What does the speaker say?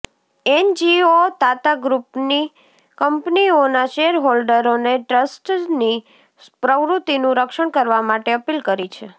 NGO Tata ગ્રુપની કંપનીઓના share હોલ્ડરોને ટ્રસ્ટસની પ્રવૃત્તિનું રક્ષણ કરવા માટે અપીલ કરી છે